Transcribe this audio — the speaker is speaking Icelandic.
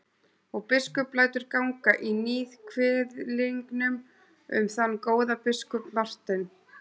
Og biskup lætur ganga í níðkviðlingum um þann góða biskup Martein.